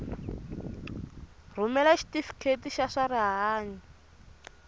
rhumela xitifiketi xa swa rihanyu